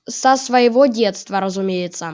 со своего детства разумеется